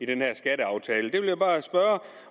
den her skatteaftale jeg vil bare spørge